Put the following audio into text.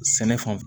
Sɛnɛ fan